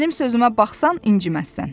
Mənim sözümə baxsan inciməzsən.